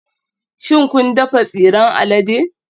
Shin kun dafa tsiran alade?